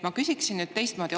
Ma küsin nüüd teistmoodi.